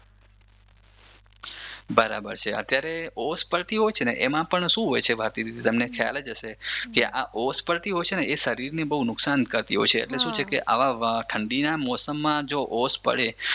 બરાબર છે અત્યારે ઓશ પડતી હોય છે ને ભારતીદીદી તમને ખ્યાલ જ હશે આ ઓશ પડતી હોય છે ને શરીરને બહુ નુકસાન કરતી હોય છે એટલે શું કે છે ઠંડીના મોસમમાં જો ઓશ પડે